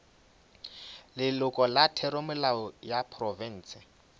leloko la theramelao ya profense